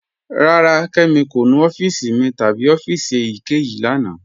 Rárá, Kẹmi kò nú ọ̀fíìsì mi tabi ọ̀fíìsì èyíkẹyìí lána.